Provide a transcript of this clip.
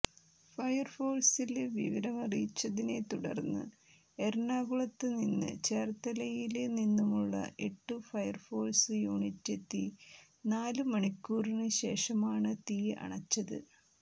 ഫയര്ഫോഴ്സില് വിവരമറിയിച്ചതിനെ തുടര്ന്ന് എറണാകുളത്ത് നിന്നും ചേര്ത്തലയില് നിന്നുമുള്ള എട്ടു ഫയര്ഫോഴ്സ് യൂണിറ്റെത്തി നാലു മണിക്കൂറിന് ശേഷമാണ് തീ അണച്ചത്